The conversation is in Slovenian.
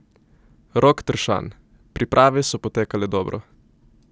Rok Tršan: "Priprave so potekale dobro.